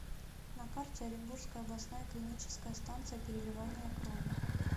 на карте оренбургская областная клиническая станция переливания крови